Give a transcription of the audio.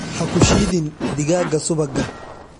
Ha ku shiidin digaagga subagga.